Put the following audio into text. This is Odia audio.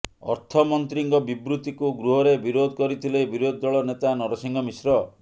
ଅର୍ଥମନ୍ତ୍ରୀଙ୍କ ବିବୃତିକୁ ଗୃହରେ ବିରୋଧ କରିଥିଲେ ବିରୋଧୀ ଦଳ ନେତା ନରସିଂହ ମିଶ୍ର